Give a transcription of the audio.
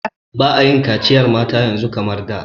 Ba'a yin kaciyar mata yanzu kamar da.